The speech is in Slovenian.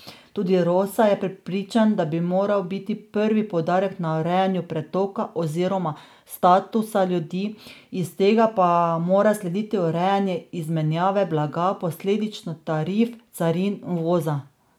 Tudi Rosa je prepričan, da bi moral biti prvi poudarek na urejanju pretoka oziroma statusa ljudi, iz tega pa mora slediti urejanje izmenjave blaga, posledično tarif, carin, uvoza.